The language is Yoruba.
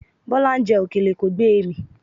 Bọ́lá ń jẹ òkèlè, kò gbé e mì.